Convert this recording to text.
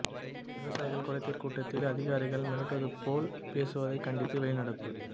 விவசாயிகள் குறைதீர் கூட்டத்தில் அதிகாரிகள் மிரட்டுவது போல் பேசுவதை கண்டித்து வெளிநடப்பு